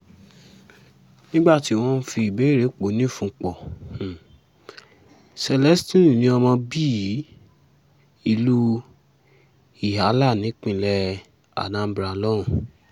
nígbà tí wọ́n ń um fìbéèrè pó o nífun pọ̀ um celestine ní ọmọ bíi ìlú ihiala nípínlẹ̀ anambra lòun